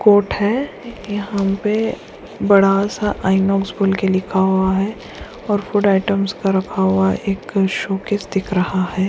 Coat है यहाँ पे बड़ा-सा इनोक्स बोल के लिखा हुआ है और फूड आइटम्स का रखा हुआ एक शोकेस दिख रहा है।